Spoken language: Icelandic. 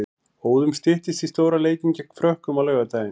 Óðum styttist í stóra leikinn gegn Frökkum á laugardaginn.